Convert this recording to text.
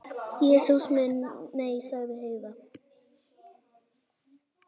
Jesús minn, nei, sagði Heiða.